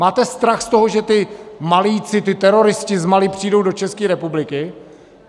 Máte strach z toho, že ti Malijci, ti teroristi z Mali, přijdou do České republiky?